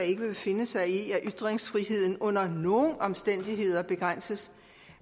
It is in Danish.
ikke vil finde sig i at ytringsfriheden under nogen omstændigheder begrænses